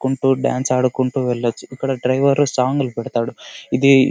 Guntur dance ఆడుకుంటూ వెళ్లొచ్చు. ఇక్కడ డ్రైవర్ సాంగ్ లు పెడతాడు. ఇది --